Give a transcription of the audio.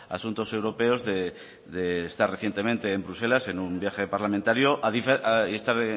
asuntos europeos de estar recientemente en bruselas en un viaje parlamentario y estar